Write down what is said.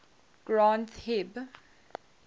granth hib